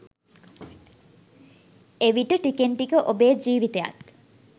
එවිට ටිකෙන් ටික ඔබේ ජීවිතයත්